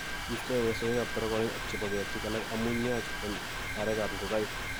istoege sogekab taragonik ak chebo ketik alak amun yaach en arekab ngogaik.